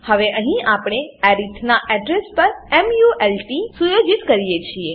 હવે અહીં આપણે અરિથ નાં એડ્રેસ પર મલ્ટ સુયોજિત કરીએ છીએ